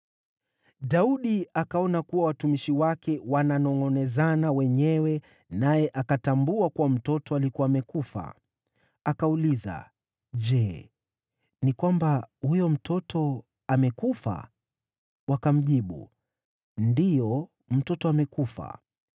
Daudi akaona kuwa watumishi wake wananongʼonezana wenyewe, naye akatambua kuwa mtoto alikuwa amekufa. Akauliza “Je, ni kwamba huyo mtoto amekufa?” Wakamjibu, “Ndiyo, mtoto amekufa.”